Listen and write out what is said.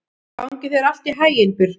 Gangi þér allt í haginn, Burkni.